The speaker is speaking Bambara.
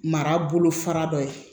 Mara bolo fara dɔ ye